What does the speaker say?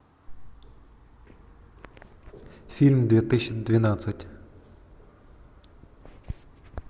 фильм две тысячи двенадцать